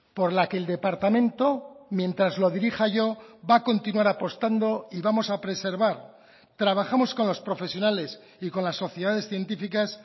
por la que el departamento mientras lo dirija yo va a continuar apostando y vamos a preservar trabajamos con los profesionales y con las sociedades científicas